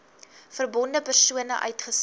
verbonde persone uitgesluit